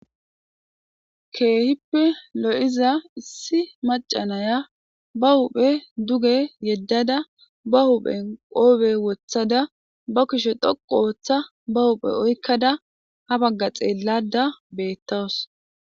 keehippe lo7iza issi maca naya ba huphe duge yeddada ba huphen qoobe wothada ba kishe dhoqu ooththa ba huphe oykkada ha bagga xeellada beettawus